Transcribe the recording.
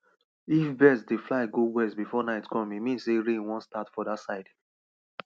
if birds dey fly go west before night come e mean sey rain wan start for dat side